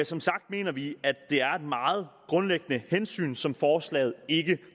som sagt mener vi at det er et meget grundlæggende hensyn som forslaget ikke